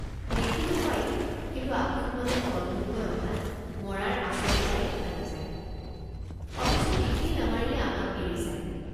দেখিলোঁ হয়কিন্তু আপোনমনে তলমূৰকৈ অহাত মৰাৰ আচল ঠাই অৰ্থাৎ কপাল কুম বা কাণৰ বিন্ধা দেখা নাযায় অথচ তেতিয়াই নামাৰিলে আমাক এৰি যায়।